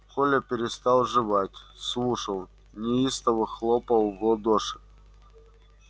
коля перестал жевать слушал неистово хлопал в ладоши